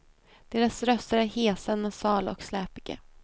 Deras röster är hesa, nasala och släpiga.